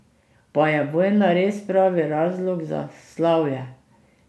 Pa je vojna res pravi razlog za slavje?